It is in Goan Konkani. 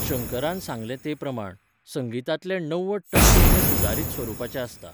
शंकरान सांगलें तेप्रमाण, संगीतांतलें णव्वद टक्के हें सुदारीत स्वरुपाचें आसता.